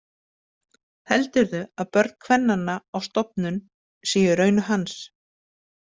Heldurðu að börn kvennanna á stofnun séu í raun hans?